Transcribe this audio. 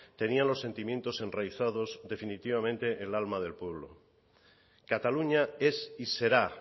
tenían los sentimientos enraizados definitivamente el alma del pueblo cataluña es y será